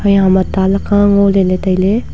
a hamma ta laka ngo le ley tailey.